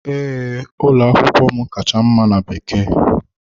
Ee, ụlọ akwụkwọ m kacha mma na Bekee.